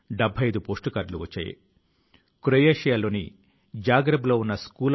ఇటువంటి ప్రయత్నాలు రెండు దేశాల ప్రజలను మరింత సన్నిహితం చేస్తాయి